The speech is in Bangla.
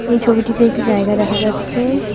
এই ছবিটিতে একটি জায়গা দেখা যাচ্ছে।